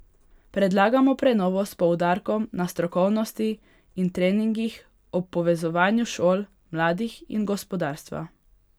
Predlagamo prenovo s poudarkom na strokovnosti in treningih ob povezovanju šol, mladih in gospodarstva.